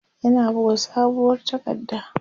yana buga sabuwar takarda